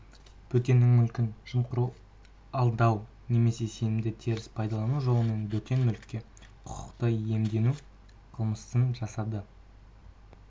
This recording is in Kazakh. бөтеннің мүлкін жымқыру алдау немесе сенімді теріс пайдалану жолымен бөтен мүлікке құқықты иемдену қылмысын жасады